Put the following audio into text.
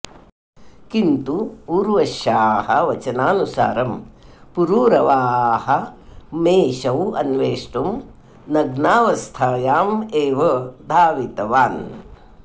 किन्तु उर्वश्याः वचनानुसारं पुरुरवाः मेषौ अन्वेष्टुं नग्नावस्थायाम् एव धावितवान्